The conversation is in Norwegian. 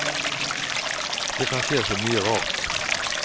Det kan skje så mye rart.